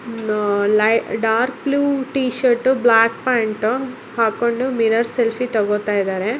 ಅಹ್‌ ಲೈ dark blue t shirt black pant ಹಾಕೊಂಡು mirror selfie ತೊಗೊಳ್ತಾ ಇದ್ದಾರೆ .